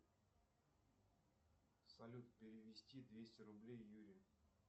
салют перевести двести рублей юрию